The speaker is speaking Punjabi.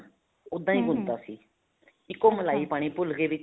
ਉੱਦਾਂ ਹੀ ਗੁੰਨ ਤਾਂ ਸੀ ਇੱਕ ਉਹ ਮਲਾਈ ਪਾਣੀ ਭੁੱਲ ਗਏ ਵਿੱਚ